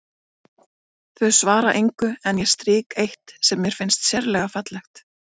Þau svara engu en ég strýk eitt sem mér finnst sérlega fallegt.